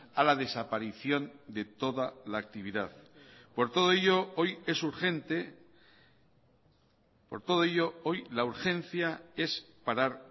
a la desaparición de toda la actividad por todo ello hoy es urgente por todo ello hoy la urgencia es parar